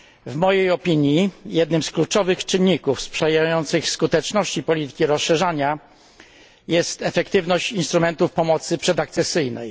W mojej opinii jednym z kluczowych czynników sprzyjających skuteczności polityki rozszerzania jest efektywność instrumentów pomocy przedakcesyjnej.